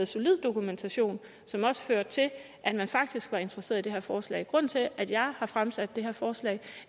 solid dokumentation som også førte til at man faktisk var interesseret i det her forslag grunden til at jeg har fremsat det her forslag